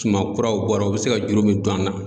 Suma kuraw bɔra u be se ka juru min don an na